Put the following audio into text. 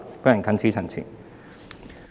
我謹此陳辭。